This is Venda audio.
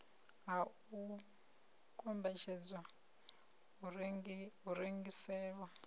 ha u kombetshedzwa u rengiselwa